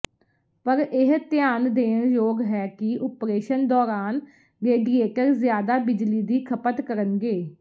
ਪਰ ਇਹ ਧਿਆਨ ਦੇਣ ਯੋਗ ਹੈ ਕਿ ਓਪਰੇਸ਼ਨ ਦੌਰਾਨ ਰੇਡੀਏਟਰ ਜ਼ਿਆਦਾ ਬਿਜਲੀ ਦੀ ਖਪਤ ਕਰਨਗੇ